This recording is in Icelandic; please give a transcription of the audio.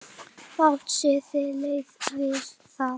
Fátt siðlegt við það?